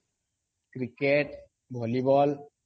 cricket volleyball